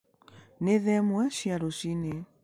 Nĩ thaa ĩmwe cia rũcinĩ.